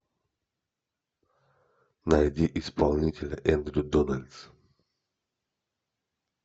найди исполнителя эндрю дональдс